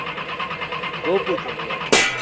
ಹಾ ಗೋಪೂಜೆ ಅಲ್ಲ ಇವತ್ತು.